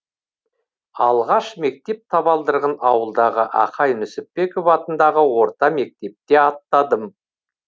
алғаш мектеп табалдырыған ауылдағы ақай нүсіпбеков атындаға орта мектепте аттадым